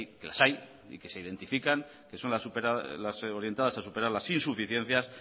que las hay y que se identifican que son las orientadas a superar las insuficiencias